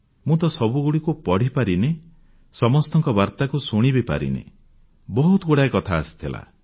ମୁଁ ତ ସବୁଗୁଡ଼ିକୁ ପଢ଼ିପାରି ନାହିଁ ସମସ୍ତଙ୍କ ବାର୍ତାକୁ ଶୁଣିବିପାରିନି ବହୁତଗୁଡ଼ିଏ କଥା ଆସିଥିଲା